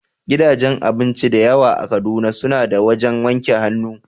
Gidajen cin abinci dayawa a Kaduna, su na da wajen wanke hannu